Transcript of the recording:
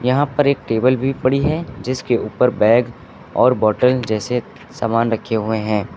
यहां पर एक टेबल भी पड़ी है जिसके ऊपर बैग और बॉटल जैसे सामान रखे हुए हैं।